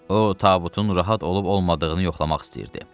O tabutun rahat olub olmadığını yoxlamaq istəyirdi.